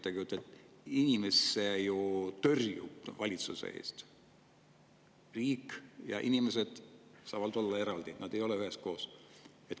See tõrjub ju inimesed valitsusest, riik ja inimesed on eraldi, nad ei ole üheskoos.